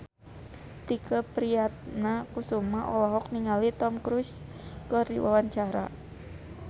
Tike Priatnakusuma olohok ningali Tom Cruise keur diwawancara